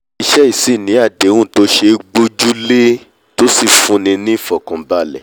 ilé-iṣẹ́ yìí sì ni àdéhùn tó ṣe é gbójúlé tó sì fúnni ní ìfọ̀kànbalẹ̀